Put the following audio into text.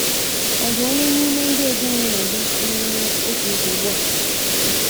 Ọ̀ dị onye n’ime ndị ezinụlọ gị na - enwe otu nsogbu a?